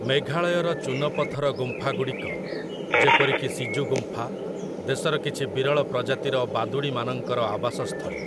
ମେଘାଳୟର ଚୂନପଥର ଗୁମ୍ଫାଗୁଡ଼ିକ, ଯେପରିକି ସିଜୁ ଗୁମ୍ଫା, ଦେଶର କିଛି ବିରଳ ପ୍ରଜାତିର ବାଦୁଡ଼ିମାନଙ୍କର ଆବାସସ୍ଥଳୀ ।